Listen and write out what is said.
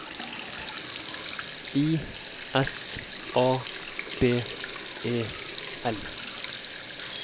I S A B E L